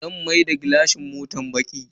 Zan maida gilashin motan baki.